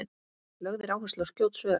lögð er áhersla á skjót svör